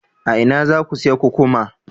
A ina za ku sayi kukkuma?